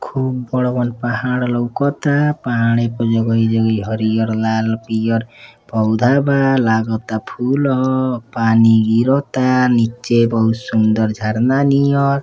खुब बड़-बड़ पहाड़ लउकता। पहाड़ी प जगही जगही हरियर लाल पियर पौधा बा। लागता फूल ह। पानी गिरता नीचे बहुत सुंदर झरना नियर।